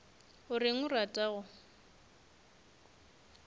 o reng o rata go